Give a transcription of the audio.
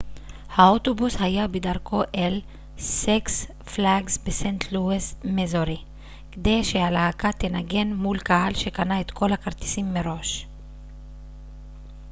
האוטובוס היה בדרכו אל סיקס פלאגס בסנט לואיס מיזורי כדי שהלהקה תנגן מול קהל שקנה את כל הכרטיסים מראש